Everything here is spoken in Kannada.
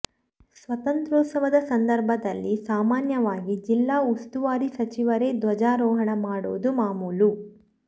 ಸ್ವಾತಂತ್ರ್ಯೋತ್ಸವದ ಸಂದರ್ಭದಲ್ಲಿ ಸಾಮಾನ್ಯವಾಗಿ ಜಿಲ್ಲಾ ಉಸ್ತುವಾರಿ ಸಚಿವರೇ ಧ್ವಜಾರೋಹಣ ಮಾಡೋದು ಮಾಮೂಲು